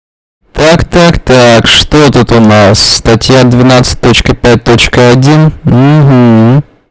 так так так что это ты у нас статья двенадцать точка пять точка один